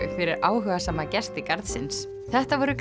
fyrir áhugasama gesti garðsins þetta voru